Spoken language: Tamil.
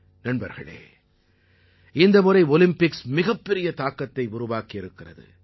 நண்பர்களே இந்த முறை ஒலிம்பிக்ஸ் மிகப் பெரிய தாக்கத்தை உருவாக்கி இருக்கிறது